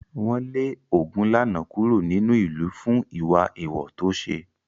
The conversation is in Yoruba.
Wọ́n lé Ogunlana kúrò nínú ìlú fún ìwà èèwọ̀ tó ṣe.